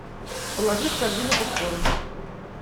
положи в корзину попкорн